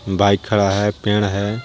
Bike खड़ा है पेड़ है।